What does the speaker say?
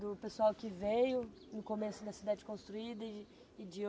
do pessoal que veio no começo da cidade construída e de ho